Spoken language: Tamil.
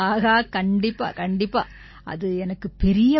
ஆஹா கண்டிப்பா கண்டிப்பா அது எனக்குப் பெரிய பாக்கியம்